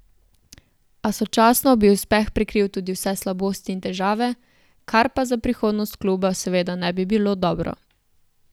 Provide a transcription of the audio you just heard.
A sočasno bi uspeh prekril tudi vse slabosti in težave, kar pa za prihodnost kluba seveda ne bi bilo dobro.